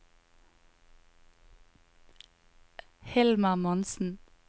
Hilmar Monsen